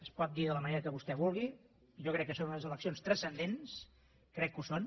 es pot dir de la manera que vostè vulgui jo crec que són unes eleccions transcendents crec que ho són